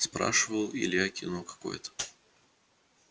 спрашивал илья кино какое-то